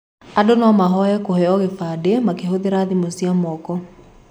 Andũ no mahoye kũheo kĩbandĩ makĩhũthĩra thimũ cia moko.